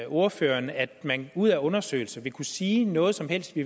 ordføreren at man ud fra undersøgelser vil kunne sige noget som helst